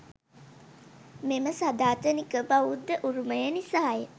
මෙම සදාතනික බෞද්ධ උරුමය නිසාය.